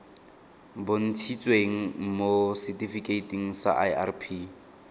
bontshitsweng mo setifikeiting sa irp